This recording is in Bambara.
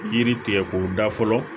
Yiri tigɛ k'o da fɔlɔ